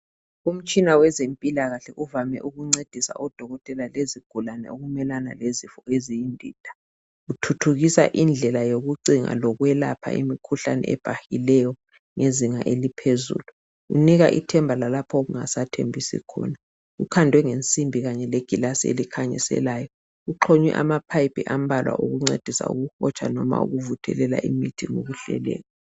Umtshina wezempilakahle ovame ukuncedisa odokotela lezigulane ukumelana lezifo eziyindida, uthuthukisa indlela yokucinga lokwelapha imikhuhlane ebhahileyo ngezinga eliphezulu. Unika ithemba lalapho okungasathembisi khona. Ukhandwe ngensimbi kanye legilasi elikhanyiselayo. Uxhunywe amaphayiphi ambalwa okuncedisa ukuhotsha noma ukuvuthelela imithi ngokuhleleka.